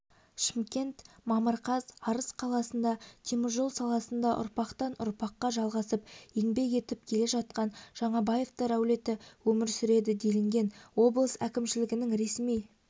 шымкент мамыр қаз арыс қаласында теміржол саласында ұрпақтан-ұрпаққа жалғасып еңбек етіп келе жатқан жаңабаевтар әулеті өмір сүреді делінген облыс әкімшілігінің ресми